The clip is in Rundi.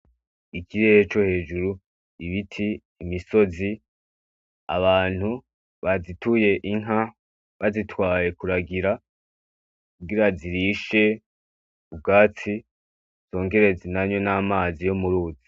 Ikirere co hejuru, ibiti, imisozi, abantu bazituye inka bazitwaye kuragira kugira zirishe ubwatsi zongere zinanywe n'amazi yo mu ruzi.